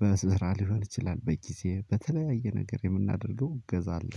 በመስራ ሊሆን ይችላል በጊዜ በተለያየ ነገር የምናደርገው እገዛ አለ።